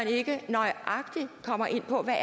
ikke nøjagtig kommer ind på hvad